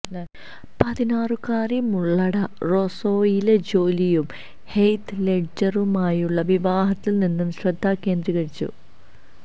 പതിനാറുകാരി മുള്ളഡ റോസൊയിലെ ജോലിയും ഹെയ്ത് ലെഡ്ജറുമായുള്ള വിവാഹത്തിൽ നിന്ന് ശ്രദ്ധ കേന്ദ്രീകരിച്ചു